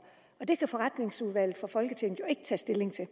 og det kan forretningsordenen jo ikke tage stilling til